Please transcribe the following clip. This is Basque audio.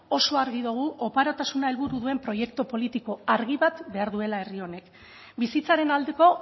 oso argi dugu oparotasuna helburu duen proiektu politiko argi bat behar duela herri honek bizitzaren aldeko